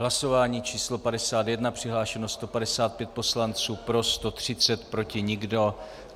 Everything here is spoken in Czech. Hlasování číslo 51, přihlášeno 155 poslanců, pro 130, proti nikdo.